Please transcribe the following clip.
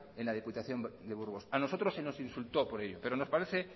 en la diputación de burgos a nosotros se nos insultó por ello pero nos parece